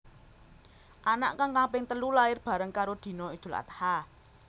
Anak kang kaping telu lair bareng karo dina Idul Adha